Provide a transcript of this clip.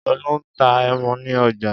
Olú ń ta ẹmu ní ọjà.